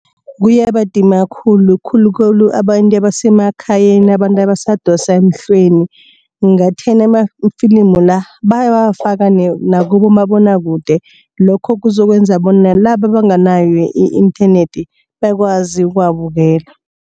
Kuyabadima khulu khulukhulu abantu abasemakhayeni abantu abasadosa emhlweni. Ngathana amafilimi la bayawabafaka nakubomabonwakude lokhu kuzokwenza bona nalaba abanganayo i-internet bakwazi ukuwabukela.